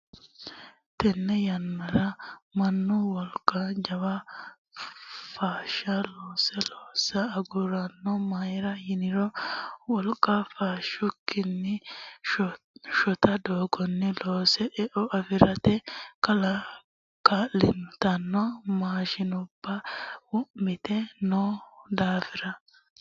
Tene yannara mannu wolqa jawa fushshe looso loossa agurino mayra yiniro wolqa fushikkini shota doogonni loose eo afirate kaa'littano maashinubba wo'mite no daafira.